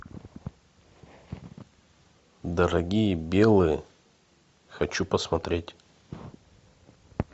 дорогие белые хочу посмотреть